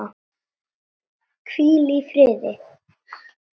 Hvílið í friði.